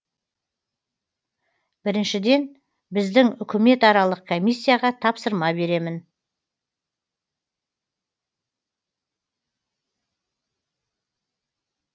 біріншіден біздің үкіметаралық комиссияға тапсырма беремін